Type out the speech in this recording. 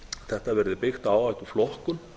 þetta verði byggt á áhættuflokkun